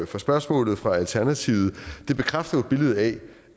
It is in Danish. for spørgsmålet fra alternativet det bekræfter jo billedet af